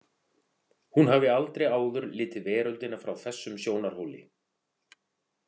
Hún hafði aldrei áður litið veröldina frá þessum sjónarhóli.